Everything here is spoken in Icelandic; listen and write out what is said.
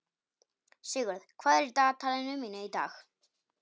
Sigurður, hvað er í dagatalinu mínu í dag?